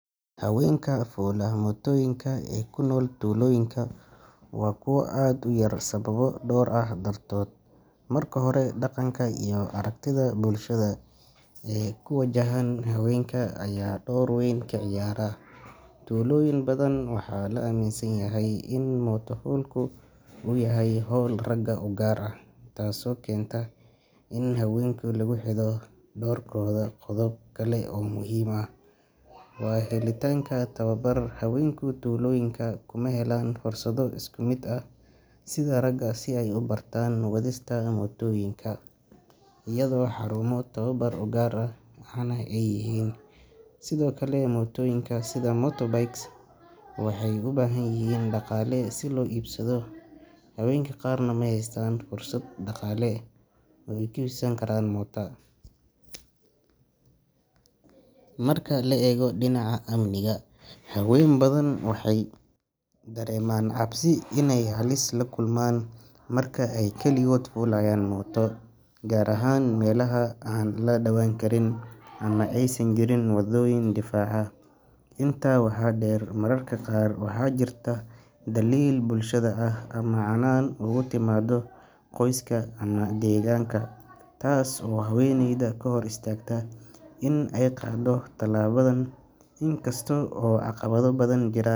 Haweenka fuula mootooyinka ee ku nool tuulooyinka waa kuwo aad u yar sababo dhowr ah dartood. Marka hore, dhaqanka iyo aragtida bulshada ee ku wajahan haweenka ayaa door weyn ka ciyaara. Tuulooyin badan waxaa la aaminsan yahay in mooto-fuulku uu yahay hawl ragga u gaar ah, taasoo keenta in haweenka lagu xadido doorkooda. Qodob kale oo muhiim ah waa helitaanka tababar. Haweenka tuulooyinka kuma helaan fursado isku mid ah sida ragga si ay u bartaan wadista mootooyinka, iyadoo xarumo tababar oo gaar ahna ay yaryihiin. Sidoo kale, mootooyinka sida motorbikes waxay u baahan yihiin dhaqaale si loo iibsado, haweenka qaarna ma haystaan fursad dhaqaale oo ay ku iibsan karaan mooto. Marka la eego dhinaca amniga, haween badan waxay dareemaan cabsi inay halis la kulmaan marka ay kaligood fuulayaan mooto, gaar ahaan meelaha aan la daawan karin ama aysan jirin wadooyin fiican. Intaa waxaa dheer, mararka qaar waxaa jirta dhaliil bulshada ah ama canaan uga timaada qoyska ama deegaanka, taasoo haweeneyda ka hor istaagta in ay qaado tallaabadan. In kasta oo caqabado badan jiraan.